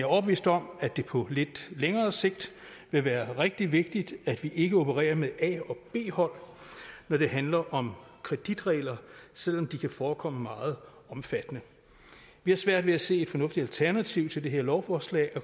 overbevist om at det på lidt længere sigt vil være rigtig vigtigt at vi ikke opererer med et a og b hold når det handler om kreditregler selv om de kan forekomme meget omfattende vi har svært ved at se et fornuftigt alternativ til de her lovforslag